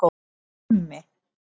Krummi